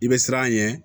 I bɛ siran a ɲɛ